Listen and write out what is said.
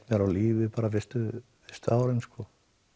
mér lífi fyrstu árin og